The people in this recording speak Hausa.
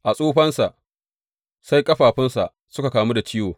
A tsufansa, sai ƙafafunsa suka kamu da cuta.